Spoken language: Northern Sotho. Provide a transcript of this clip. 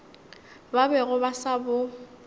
ba bego ba sa bo